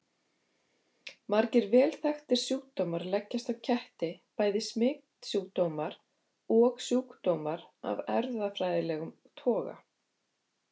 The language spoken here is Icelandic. Margir vel þekktir sjúkdómar leggjast á ketti, bæði smitsjúkdómar og sjúkdómar af erfðafræðilegum toga.